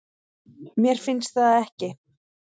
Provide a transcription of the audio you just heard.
Mér finnst það ekki